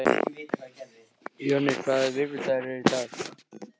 Jonni, hvaða vikudagur er í dag?